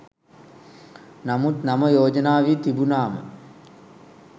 නමුත් නම යෝජනා වී තිබුණාම